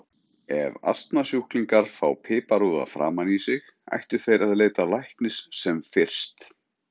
Ef astmasjúklingar fá piparúða framan í sig ættu þeir að leita læknis sem fyrst.